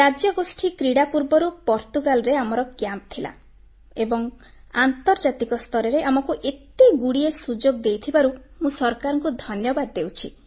ରାଜ୍ୟଗୋଷ୍ଠୀ କ୍ରୀଡ଼ା ପୂର୍ବରୁ ପର୍ତ୍ତୁଗାଲରେ ଆମର କ୍ୟାମ୍ପ ଥିଲା ଏବଂ ଆନ୍ତର୍ଜାତିକ ସ୍ତରରେ ଆମକୁ ଏତେଗୁଡ଼ିଏ ସୁଯୋଗ ଦେଇଥିବାରୁ ମୁଁ ସରକାରଙ୍କୁ ଧନ୍ୟବାଦ ଦେଉଛି